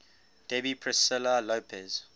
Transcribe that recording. debbie priscilla lopez